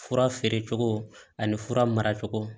Fura feere cogo ani fura mara cogo